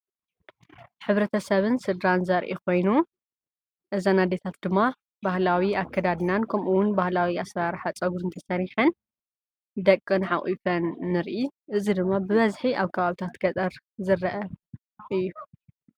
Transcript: ሕብረተሰብን ስድራን ዘርኢ ኮይኑ እዘን ኣዴታት ድማ ባህላዊ ኣከዳድናን ከምኡ'ውን ባህላዊ ኣሰራርሓ ፀጉሪ ተሰሪሓን ደቀን ሓቁፈን ንርኢ። እዚ ድማ ብበዝሒ ኣብ ከባቢታት ገጠር ዝረአ እዩ።